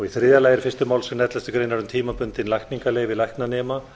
í þriðja lagi er fyrsta málsgrein elleftu greinar um tímabundin lækningaleyfi læknanema